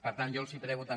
per tant jo els prego també